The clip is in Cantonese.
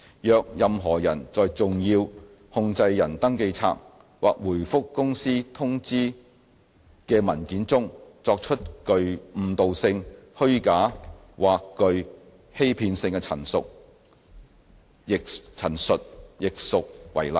若任何人在"重要控制人登記冊"或回覆公司通知的文件中作出具誤導性、虛假或具欺騙性的陳述，亦屬違例。